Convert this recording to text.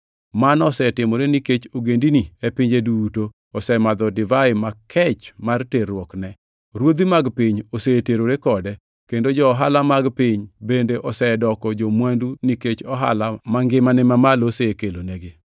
Mano osetimore nikech ogendini e pinje duto osemadho divai makech mar terruokne. Ruodhi mag piny oseterore kode, kendo jo-ohala mag piny bende osedoko jo-mwandu nikech ohala mangimane mamalo osekelonegi.”